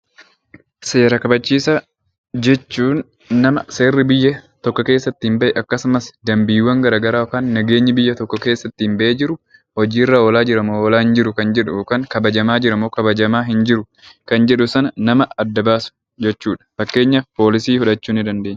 Seera kabachiisaa jechuun nama seerri biyya tokko keessa ittiin bahe akkasumas dambiiwwan garaa garaa yookiin nageenyi biyya tokko keessa ittiin bahee jiru hojii irra oolaa jira moo oolaa hin jiru kan jedhu yookaan kabajamaa jira moo kabajamaa hin jiru kan jedhu sana nama adda baasu jechuu dha. Fakkeenyaaf Poolisii fudhachuu dandeenya.